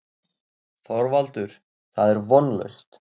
ÞORVALDUR: Það er vonlaust.